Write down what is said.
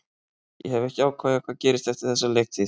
Ég hef ekki ákveðið hvað gerist eftir þessa leiktíð.